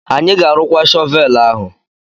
Anyị ga-arụkwa shọvel ahu.